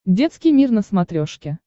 детский мир на смотрешке